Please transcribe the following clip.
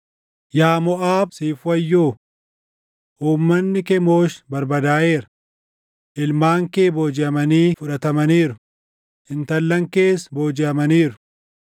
Yaa Moʼaab siif wayyoo! Uummanni Kemoosh barbadaaʼeera; Ilmaan kee boojiʼamanii fudhatamaniiru; intallan kees boojiʼamaniiru.